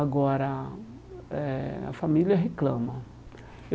Agora eh, a família reclama.